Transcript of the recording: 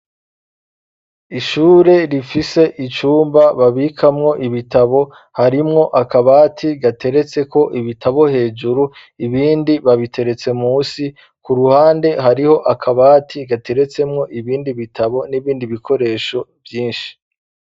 Ishure, rifise icumba, babikamwo ibitabo; harimwo akabati, gateretseko ibitabo hejuru, ibindi babiteretse munsi; ku ruhande, hariho akabati, gateretsemwo ibindi bitabo, n'ibindi bikoresho vyinshi.